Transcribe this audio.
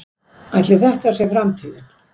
Ætli þetta sé framtíðin?